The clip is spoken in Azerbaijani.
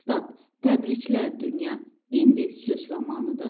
Təbriklər, dünya, indi sülh zamanıdır.